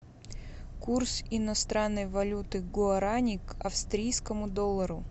курс иностранной валюты гуарани к австрийскому доллару